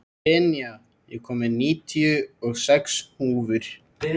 Senía, ég kom með níutíu og sex húfur!